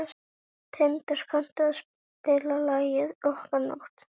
Tindar, kanntu að spila lagið „Okkar nótt“?